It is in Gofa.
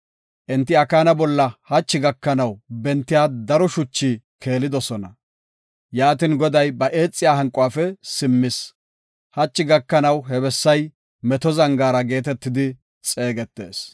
Enti Akaana bolla hachi gakanaw bentiya daro shuchi keelidosona. Yaatin, Goday ba eexiya hanquwafe simmis. Hachi gakanaw he bessay Meto Zangaara geetetidi xeegetees.